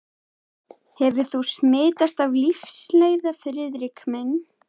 Hefur þú smitast af lífsleiða, Friðrik minn?